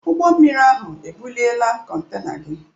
Ụgbọ mmiri ahụ ebuliela kontena gị.